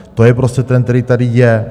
To je prostě trend, který tady je.